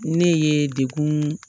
Ne ye dekun